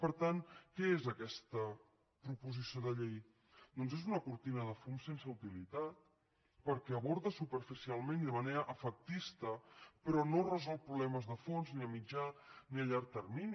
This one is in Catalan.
per tant què és aquesta proposició de llei doncs és una cortina de fum sense utilitat perquè aborda superficialment i de manera efectista però no resol problemes de fons ni a mitjà ni a llarg termini